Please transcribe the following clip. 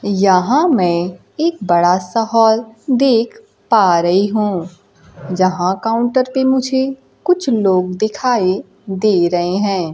यहां मैं एक बड़ा सा हॉल देख पा रही हूं जहां काउंटर पे मुझे कुछ लोग दिखाई दे रहे हैं।